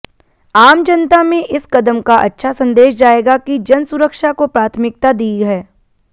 आम जनता में इस कदम का अच्छा संदेश जाएगा कि जनसुरक्षा को प्राथामिकता दी है